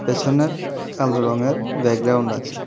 পিছনে কালো রঙের ব্যাকগ্রাউন্ড আছে।